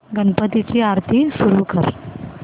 गणपती ची आरती सुरू कर